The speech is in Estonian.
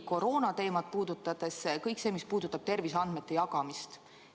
Koroonateema puhul on selline detail kõik see, mis puudutab terviseandmete jagamist.